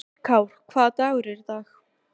Styrkár, hvaða dagur er í dag?